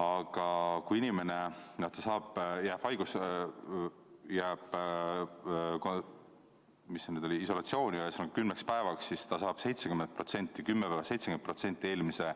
Aga kui inimene jääb isolatsiooni kümneks päevaks, siis ta saab 70% eelmise